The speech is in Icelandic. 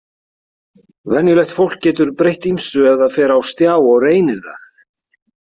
Venjulegt fólk getur breytt ýmsu ef það fer á stjá og reynir það.